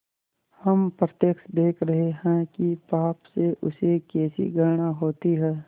हम प्रत्यक्ष देख रहे हैं कि पाप से उसे कैसी घृणा होती है